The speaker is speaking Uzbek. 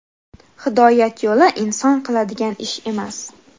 Hidoyat yo‘li - inson qiladigan ish emas.